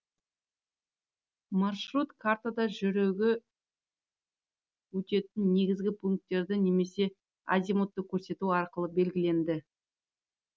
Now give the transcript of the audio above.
маршрут картада жүрігі өтетін негізгі пунктерді немесе азимутты көрсету арқылы белгіленді